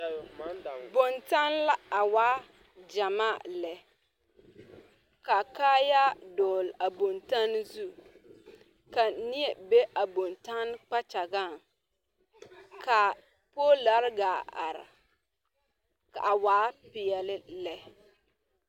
Bontanne la a waa gyamaa lɛ ka kaayaa dɔgle a bontanne zu ka neɛ be a bontanne kpakyagaŋ ka poolare gaa are a waa peɛle lɛ.